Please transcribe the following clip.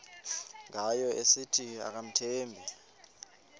ngayo esithi akamthembi